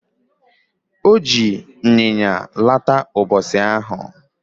Oji nyanya laata ubosi ahu